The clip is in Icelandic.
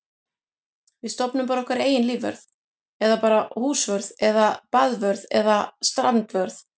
Við stofnum bara okkar eigin lífvörð eða bara húsvörð eða baðvörð eða strandvörð.